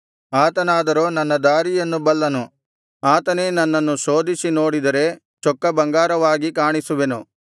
ಆತನಾದರೋ ನನ್ನ ದಾರಿಯನ್ನು ಬಲ್ಲನು ಆತನೇ ನನ್ನನ್ನು ಶೋಧಿಸಿ ನೋಡಿದರೆ ಚೊಕ್ಕ ಬಂಗಾರವಾಗಿ ಕಾಣಿಸುವೆನು